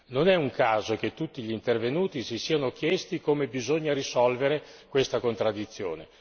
Non è un caso che tutti gli intervenuti si siano chiesti come bisogna risolvere questa contraddizione.